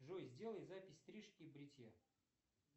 джой сделай запись стрижки и бритья